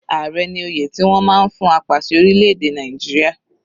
Ààrẹ ní oyè tí wọ́n máa ń fún apàṣẹ orílẹ̀-èdè Nàìjíríà.